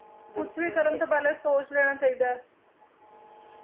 ਕੁਛ ਵੀ ਕਰਨ ਤੋਂ ਪਹਿਲਾ ਸੋਚ ਲੈਣਾ ਚਾਹੀਦਾ ਹੈ,